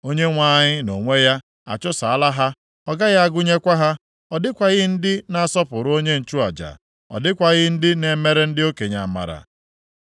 Onyenwe anyị nʼonwe ya achụsaala ha. Ọ gaghị agụnyekwa ha. Ọ dịkwaghị ndị na-asọpụrụ onye nchụaja, ọ dịkwaghị ndị na-emere ndị okenye amara.